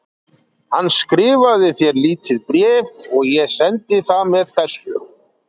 Hann skrifaði þér lítið bréf og ég sendi það með þessu.